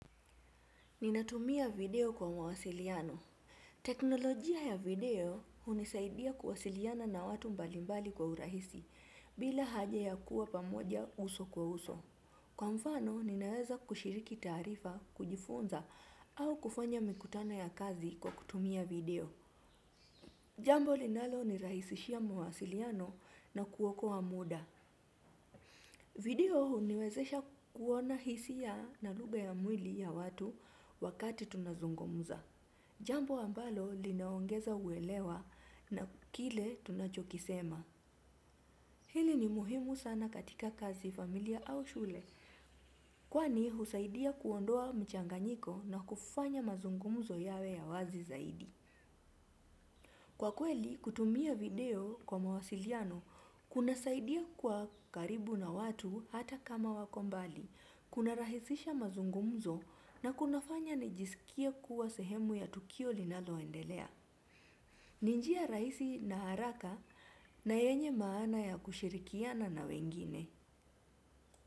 Ninatumia video kwa mawasiliano. Teknolojia ya video hunisaidia kuwasiliana na watu mbalimbali kwa urahisi bila haja ya kuwa pamoja uso kwa uso. Kwa mfano, ninaweza kushiriki taarifa, kujifunza au kufanya mikutano ya kazi kwa kutumia video. Jambo linalonirahisishia mawasiliano na kuokoa muda. Video huniwezesha kuona hisia na lugha ya mwili ya watu wakati tunazungumza. Jambo ambalo linaongeza uelewa na kile tunachokisema. Hili ni muhimu sana katika kazi familia au shule, kwani husaidia kuondoa mchanganyiko na kufanya mazungumzo yawe ya wazi zaidi. Kwa kweli, kutumia video kwa mawasiliano, kunasaidia kuwa karibu na watu hata kama wako mbali, kunarahisisha mazungumzo na kunafanya nijisikie kuwa sehemu ya tukio linaloendelea. Ni njia rahisi na haraka na yenye maana ya kushirikiana na wengine.